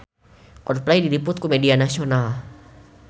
Coldplay diliput ku media nasional